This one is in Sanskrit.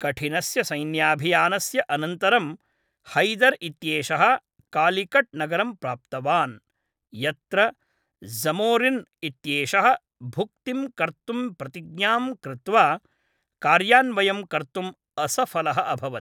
कठिनस्य सैन्याभियानस्य अनन्तरं हैदर् इत्येषः कालिकट् नगरं प्राप्तवान्, यत्र ज़मोरिन् इत्येषः भुक्तिं कर्तुं प्रतिज्ञां कृत्वा, कार्यान्वयं कर्तुम् असफलः अभवत्।